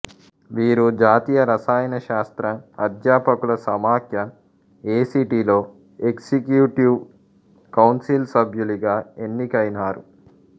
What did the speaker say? వీరు జాతీయ రసాయనశాస్త్ర అధ్యాపకుల సమాఖ్య ఏ సి టి లో ఎక్జిక్యూటివ్ కౌన్సిల్ సభ్యులుగా ఎన్నికైనారు